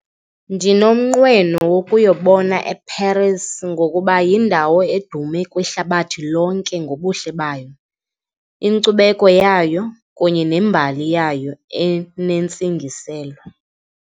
Ndinomnqweno wokuyobona eParis ngokuba yindawo edume kwihlabathi lonke ngobuhle bayo, inkcubeko yayo kunye nembali yayo enentsingiselo.